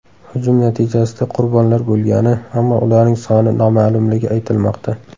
Hujum natijasida qurbonlar bo‘lgani, ammo ularning soni noma’lumligi aytilmoqda.